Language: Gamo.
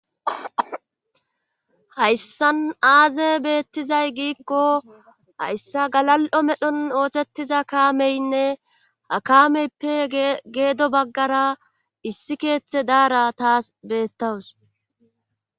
hayssan aaze beettizay giikko hayssa galal7o medhon oothettiza kaameynne ha kaameyppe geedo baggara issi keeththe daara taas beettawus